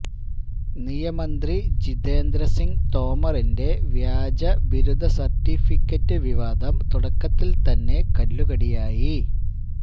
നിയമന്ത്രി ജിതേന്ദ്ര സിംഗ് തോമറിന്റെ വ്യാജബിരുദ സര്ട്ടിഫിക്കറ്റ് വിവാദം തുടക്കത്തില് തന്നെ കല്ലു കടിയായി